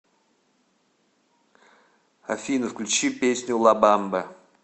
афина включи песню ла бамба